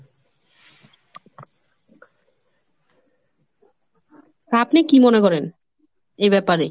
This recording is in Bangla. আপনি কি মনে করেন এ ব্যাপারে?